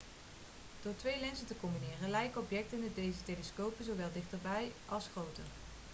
door twee lenzen te combineren lijken objecten in deze telescopen zowel dichterbij als groter